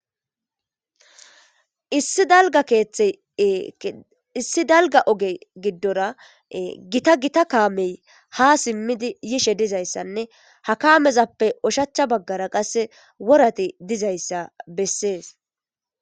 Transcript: Issi dalgga ooge gidora gitagita kaamey ha simidii yishshe dizayssanne ha kaamezappe ooshshachcha baggara qase woorati dizayssa beses